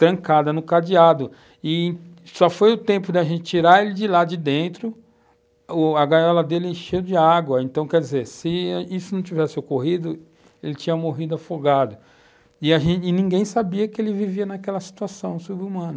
trancada no cadeado e só foi o tempo de a gente tirar ele de lá de dentro, ô, a gaiola dele encheu de água, então quer dizer, se isso não tivesse ocorrido, ele tinha morrido afogado e ninguém sabia que ele vivia naquela situação sub-humana.